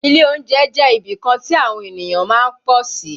Ilé oúnjẹ jẹ́ ibìkan tí àwọn ènìyàn má ń pọ̀ sí